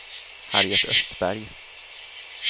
Harriet Östberg